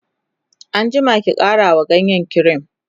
an jima ki ƙara wa ganyen kirim!